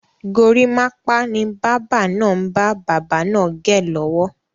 Gorímápá ni báábà náà ń bá bàbá naa gẹ lọ́wọ́.